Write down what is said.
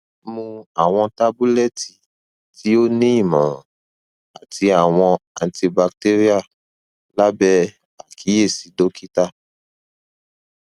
mu awọn tabulẹti ti o ni imọran ati awọn antibacterial labẹ akiyesi dokita